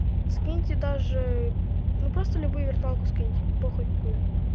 скиньте даже ну просто любую виртуалку скиньте похуй какую